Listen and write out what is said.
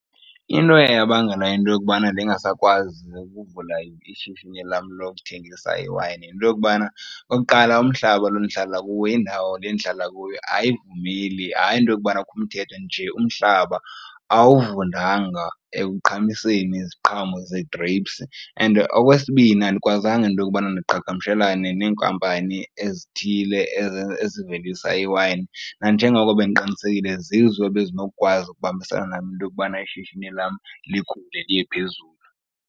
Into eye yabangela into yokubana ndingasakwazi nokuvula ishishini lam lokuthengisa iwayini yinto yokubana, okokuqala, umhlaba lo ndihlala kuwo, indawo le ndihlala kuyo ayivumeli, hayi into yokubana kukho umthetho nje, umhlaba awuvundanga ekuqhamiseni iziqhamo ze-grapes. And okwesibini, andikwazanga into yokubana ndiqhagamshelane neenkampani ezithile ezivelisa iwayini nanjengoko bendiqinisekile zizo ebezinokukwazi ukubambisana nam into yokubana ishishini lam likhule liye phezulu.